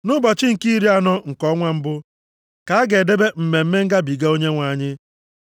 “ ‘Nʼụbọchị nke iri na anọ nke ọnwa mbụ, ka a ga-edebe Mmemme Ngabiga. Onyenwe anyị.